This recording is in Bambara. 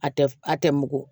A tɛ a tɛ mugu